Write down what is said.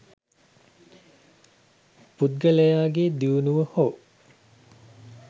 පුද්ගලයාගේ දියුණුව හෝ